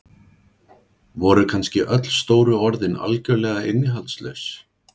Voru kannski öll stóru orðin algjörlega innihaldslaus?